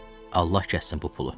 Allah kəssin bu pulu.